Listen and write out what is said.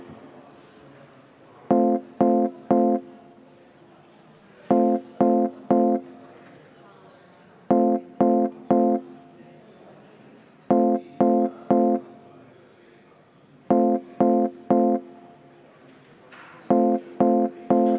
Põhjuseks juhatuse koosolek, kuhu ma palun ka väliskomisjoni aseesimehe.